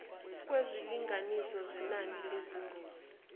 kwezilinganiso zenani lezingozi